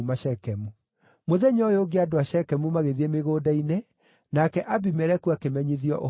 Mũthenya ũyũ ũngĩ andũ a Shekemu magĩthiĩ mĩgũnda-inĩ, nake Abimeleku akĩmenyithio ũhoro ũcio.